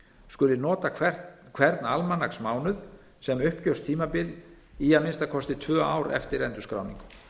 skuli nota hvern almanaksmánuð sem uppgjörstímabil í að minnsta kosti tvö ár eftir endurskráningu